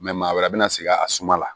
maa wɛrɛ bɛna sigi a suma la